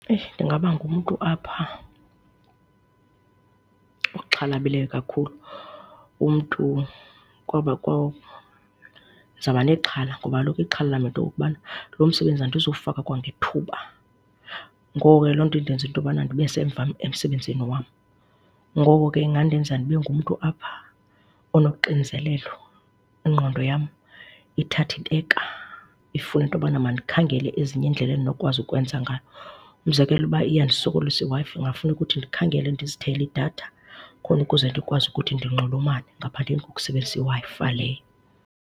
Eyi, ndingaba ngumntu apha oxhalabileyo kakhulu, umntu kwaba ndizoba nexhala ngoba kaloku ixhala lam yinto yokokubana lo msebenzi andizuwufaka kwangethuba. Ngoko ke loo nto indenze into yobana ndibe semva emsebenzini wam, ngoko ke ingandenza ndibe ngumntu apha onoxinzelelo, ingqondo yam ithathe ibeka, ifuna into yobana mandikhangele ezinye iindlela endinokwazi ukwenza ngayo. Umzekelo, uba iyandisokolisa iWi-Fi kungafuneka ukuthi ndikhangele ndizithengele idatha khona ukuze ndikwazi ukuthi ndinxulumane ngaphandleni kokusebenzisa iWi-Fi le.